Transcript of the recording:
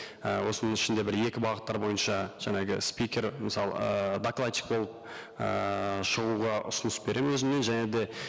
і осының ішінде бір екі бағыттар бойынша жаңағы спикер мысалы ыыы докладчик болып ыыы шығуға ұсыныс беремін өзімнен және де